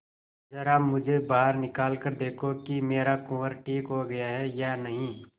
जरा मुझे बाहर निकाल कर देखो कि मेरा कुंवर ठीक हो गया है या नहीं